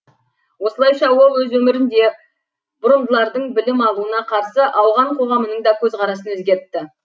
осылайша ол өз өмірін де бұрымдылардың білім алуына қарсы ауған қоғамының да көзқарасын өзгертті